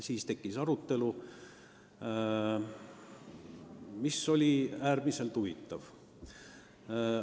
Siis tekkis arutelu, mis oli äärmiselt huvitav.